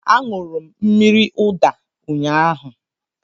A ñụrụ mmírí ụda ụnyaahụ